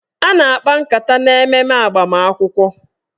A na-akpa nkata na mmemme agbamakwụkwọ